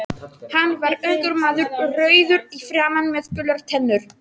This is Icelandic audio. Hann var ungur maður, rauður í framan með gular tennur.